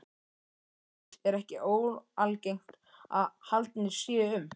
Erlendis er ekki óalgengt að haldnir séu um